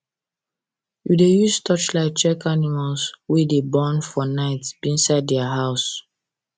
we dey use torchlight check animals wey dey born for um night inside their house